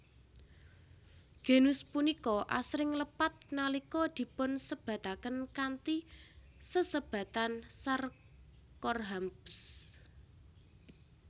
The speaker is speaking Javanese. Genus punika asring lepat nalika dipunsebataken kanthi sesebatan Sarcorhamphus